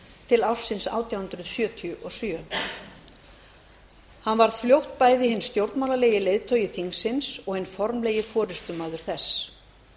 til ársins átján hundruð sjötíu og sjö hann varð fljótt bæði hinn stjórnmálalegi leiðtogi þingsins og hinn formlegi forustumaður þess hann